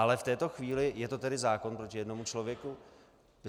Ale v této chvíli je to tedy zákon proti jednomu člověku?